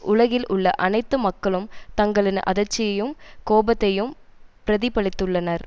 உலகில் உள்ள அனைத்து மக்களும் தங்களின் அதிர்ச்சியையும் கோபத்தையும் பிரதிபலித்துள்ளனர்